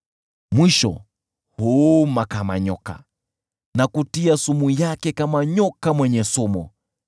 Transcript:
Mwishowe huuma kama nyoka na kutia sumu yake kama nyoka mwenye sumu.